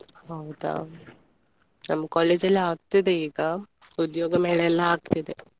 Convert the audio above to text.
ಹೌದಾ ನಮ್ಮ್ college ಅಲ್ಲಿ ಆಗ್ತಿದೆ ಈಗ ಉದ್ಯೋಗ ಮೇಳ ಎಲ್ಲ ಆಗ್ತಿದೆ .